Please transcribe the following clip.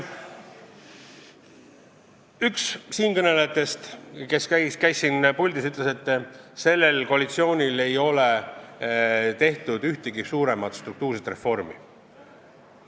Üks eelkõnelejatest ütles, et see koalitsioon ei ole teinud ühtegi suuremat struktuurset reformi.